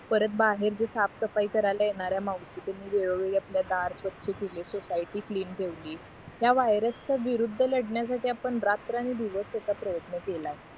परत बाहेर जे साफसफाई करायला येणाऱ्या मावशी तेन वेळोवेळी आपलं दार स्वछ केले सोसायटी क्लीन ठेवली या व्हायरस च्या विरुद्ध लढण्यासाठी आपण रात्रंदिवस प्रयत्न केलाय